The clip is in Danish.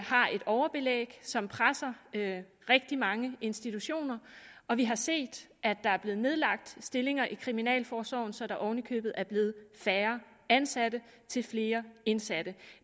har et overbelæg som presser rigtig mange institutioner og vi har set at der er blevet nedlagt stillinger i kriminalforsorgen så der oven i købet er blevet færre ansatte til flere indsatte